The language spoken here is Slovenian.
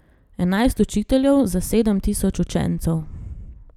Enajst učiteljev za sedem tisoč učencev.